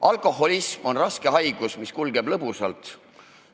Alkoholism on raske haigus, mis kulgeb lõbusalt.